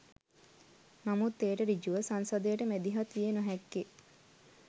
නමුත් එයට ඍජුව සංසදයට මැදිහත් විය නොහැක්කේ